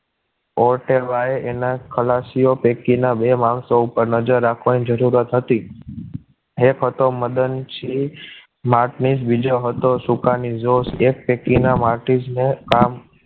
ઓર્તેબાયે તેના ખલાસ્યો પૈકીના બે માણસો ઉપર નજર રાખવાની જરૂર હતી એક હતો મદનસિંહ મારત્નીજ જ બીજો હતો સુકા નિજોશ એક પૈકીના માર્ટસ ને કામ